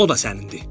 O da sənindir.